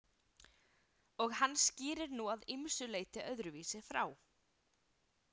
Og hann skýrir nú að ýmsu leyti öðruvísi frá.